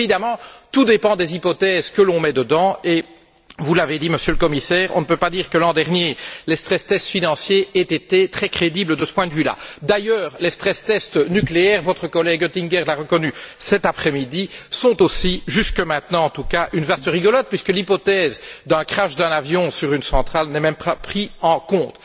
Parce qu'évidemment tout dépend des hypothèses que l'on met dedans, et vous l'avez dit, Monsieur le Commissaire, on ne peut pas dire que l'an dernier, les financiers aient été très crédibles de ce point de vue là. D'ailleurs, les stress tests nucléaires, votre collègue Oettinger l'a reconnu cet après midi, sont aussi, jusque maintenant en tout cas, une vaste rigolade puisque l'hypothèse du crash d'un avion sur une centrale n'est pas prise en compte.